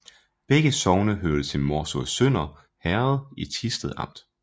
Begge sogne hørte til Morsø Sønder Herred i Thisted Amt